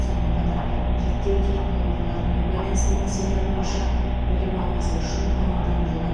сонымен қатар реттеу технологияларымен байланысты мәселелер бойынша білім алмасу үшін мамандандырылған